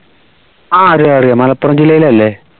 ആഹ് അറിയാം അറിയാം മലപ്പുറം ജില്ലയിൽ അല്ലേ